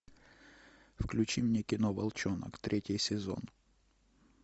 включи мне кино волчонок третий сезон